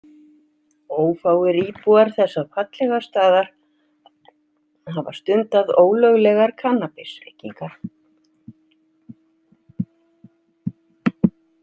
Ófáir íbúar þessa fallega staðar hafa stundað ólöglegar kannabisreykingar.